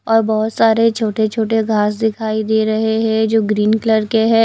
और बहोत सारे छोटे छोटे घास दिखाई दे रहे हैं जो ग्रीन कलर के है।